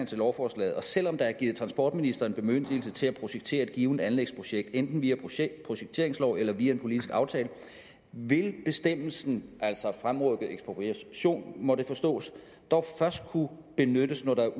til lovforslaget selvom der er givet transportministeren bemyndigelse til at projektere et givent anlægsprojekt enten via projekteringslov eller via en politisk aftale vil bestemmelsen altså fremrykket ekspropriation må det forstås dog først kunne benyttes når der